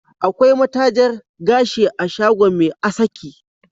Akwai matajar gashi a shagon Me asaki